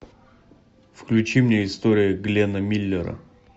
включи мне история гленна миллера